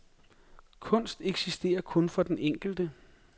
Kunst eksisterer kun for den enkelte.